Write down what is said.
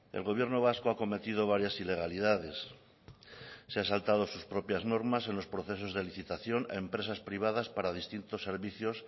el gobierno vasco ha cometido varias ilegalidades se ha saltado sus propias normas en los procesos de licitación a empresas privadas para distintos servicios